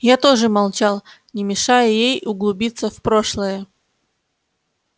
я тоже молчал не мешая ей углубиться в прошлое